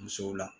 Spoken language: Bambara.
Musow la